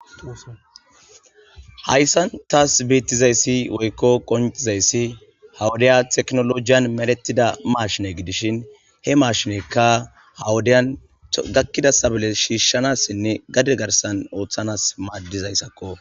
hayssan taas beettizayssi woykko qoncizayssi hawudaya teknolojiyan meletida maashine gidishin he maashinekka hawudeyan gakkida tabole shiishshanassinne gade garsan ooththanas maaddizayssakko.